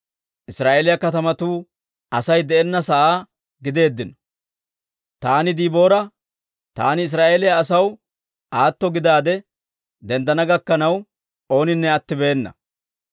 Israa'eeliyaa katamatuu Asay de'enna sa'aa gideeddino. Taan Diboora, taan Israa'eeliyaa asaw, aatto gidaade denddana gakkanaw ooninne attibeena.